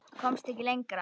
Komst ekki lengra.